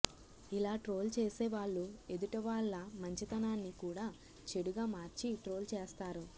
ఇలా ట్రోల్ చేసేవాళ్లు ఎదుటివాళ్ల మంచితనాన్ని కూడా చెడుగా మార్చి ట్రోల్ చేస్తారు